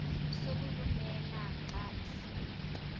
sokulumela xa esiya